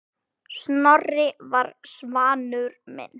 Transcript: Snorri var sannur vinur.